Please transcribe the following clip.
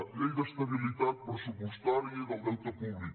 llei d’estabilitat pressupostària i del deute públic